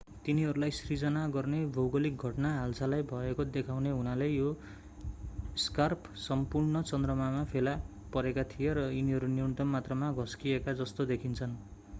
तिनीहरूलाई सिर्जना गर्ने भौगोलिक घटना हालसालै भएको देखाउने हुनाले यी स्कार्प सम्पूर्ण चन्द्रमामा फेला परेका थिए र तिनीहरू न्यूनतम मात्रामा घस्किएका जस्तो देखिन्छन्